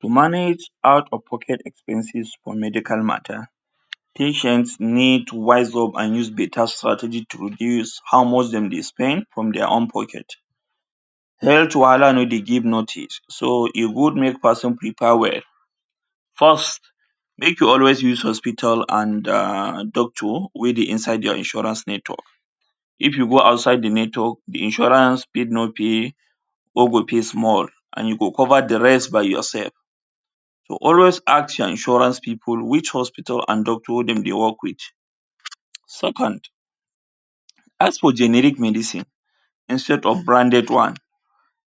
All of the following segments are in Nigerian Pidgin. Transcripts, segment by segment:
To manage out or pocket expenses for medical matter, patient need wise up and use better strategies to reduce how much dem dey spend from their own pocket. Health wahala no dey give notice, so e good make pesin prepare well. First, make you always use hospital and um doctor wey inside their insurance network. If you go outside the network, the insurance fit no pay or go pay small and you go cover the rest by yourself. So, always ask your insurance pipu which hospital and doctor dem dey work with. Second ask for the generic medicine instead of branded one.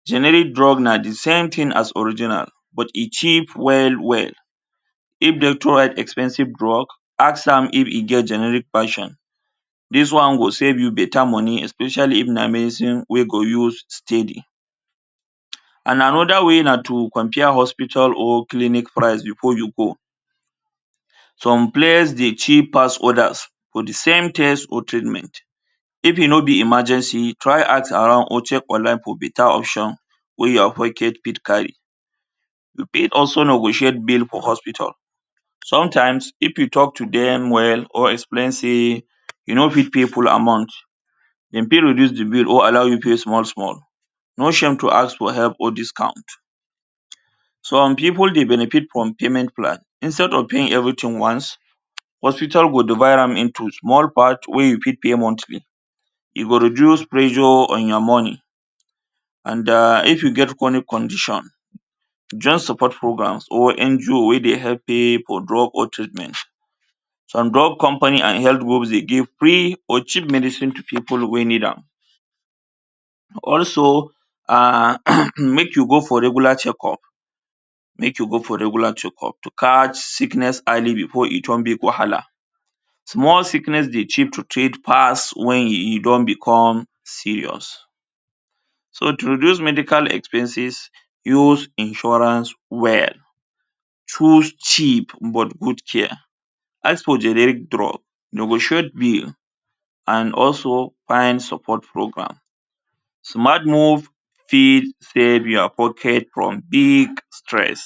Generic drug na the same thing as original but e cheap well well. If they too hype expensive drug, ask am if e get generic passion. Dis one go save you better money, especially if na medicine wey you go use steady. um And another way na to compare hospital and clinic price before you go. Some place dey cheap pass others for the same test or treatment. If e no be emergency, try ask around or check online for better option wey your pocket fit carry. You fit also no go check bill for hospital. Sometimes if you talk to dem well or explain say you no fit pay full amount, de fit reduce the bill or allow you pay small small. No shame to ask for help or discount. Some pipu dey benefit from payment plan. instead of paying everything once, hospital go divide am into small part wey you fit pay monthly. E go reduce pressure on your money. And den if you get chronic condition, just support programs or NGO wey dey help pay for drugs or treatment. Some drug companies and health work dey give free or cheap medicine to pipu wey need am. Also um make you go for regular check-up, make you go regular check-up to catch sickness early before e turn big wahala. Small sickness dey cheap to treat pass when e e don become serious. So, to dos medical expenses, use insurance well. Choose cheap but good care. As for the real drugs, you go check bill and also find support program. Smart move fit save your pocket from big stress.